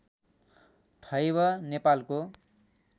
ठैब नेपालको